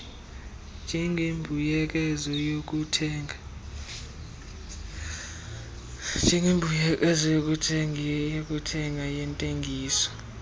njengembuyekezo yokuthenga yentengiso